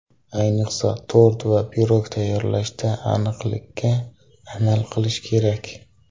Ayniqsa tort va pirog tayyorlashda aniqlikka amal qilish kerak.